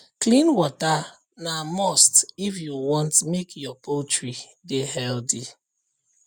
clean water na must if you want make your poultry dey healthy